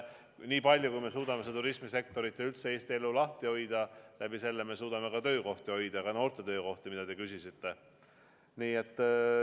Nii palju, kui me suudame turismisektorit ja üldse Eesti elu lahti hoida, nii palju me suudame ka töökohti hoida, ka noorte töökohti, mille kohta te küsisite.